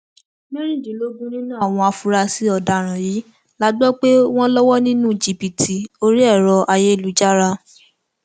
mẹrìndínlógún nínú àwọn afurasí ọdaràn yìí la gbọ pé wọn lọwọ nínú jìbìtì orí ẹrọ ayélujára